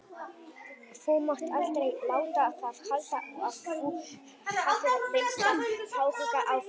Þú mátt aldrei láta það halda að þú hafir minnsta áhuga á því.